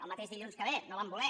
el mateix dilluns que ve no van voler